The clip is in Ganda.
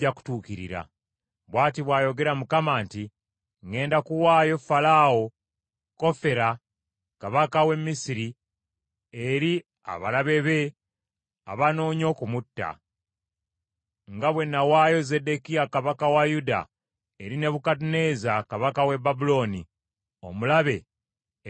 Bw’ati bw’ayogera Mukama nti, ‘Ŋŋenda kuwaayo Falaawo Kofera kabaka w’e Misiri eri abalabe be abanoonya okumutta, nga bwe n’awaayo Zeddekiya kabaka wa Yuda eri Nebukadduneeza kabaka w’e Babulooni, omulabe eyamunoonya okumutta.’ ”